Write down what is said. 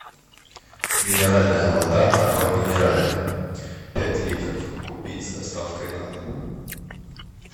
минеральная вода аква минерале пять литров купить с доставкой на дом